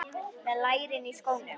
Með lærin í skónum.